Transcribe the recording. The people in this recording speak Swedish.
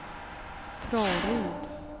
Traryd